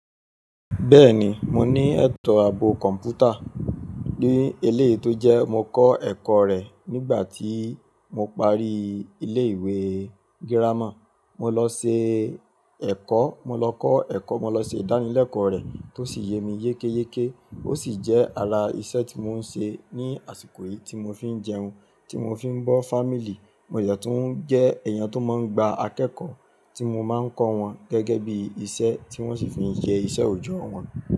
Bẹ́ẹ̀ni, mo ní ẹ̀tọ́ ààbò kọ̀m̀pútà ní eléyi tó jẹ mo kọ́ ẹ̀kọ́ rẹ̀ nígbà tí mo parí ilé-ìwé gírámà. Mo lọ ṣe ẹ̀kọ́, mo lọ kọ́ ẹ̀kọ́, mo lọ ṣe ìdánilẹ́kọ̀ọ́ rẹ̀ tó sì yẹ mi yékéyéké. Ó sì jẹ́ ara iṣẹ́ tí mò ń ṣe ní àsìkò yìí tí mò fi ń jẹun, tí mò fi ń bọ́ family, mo de tun jẹ́ èèyàn tó máa ń gba akẹ́kọ̀ọ́ tí mo máa ń kọ́ wọn gẹ́gẹ́ bí iṣẹ́ tí wọ́n sì fi ń yẹ ìṣẹ́ òòjọ́ wọn.